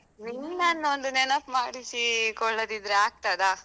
ನಿನ್ನನೊಂದು ನೆನಪ್ ಮಾಡಿಸೀ ಕೊಡದಿದ್ದ್ರೆ ಆಗ್ತದಾ?